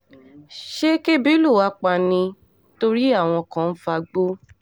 ṣé kẹ́bi lù wá pa ni torí àwọn kan ń fagbó